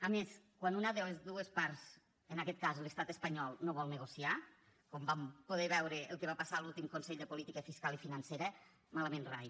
a més quan una de les dues parts en aquest cas l’estat espanyol no vol negociar com vam poder veure el que va passar a l’últim consell de política fiscal i financera malament rai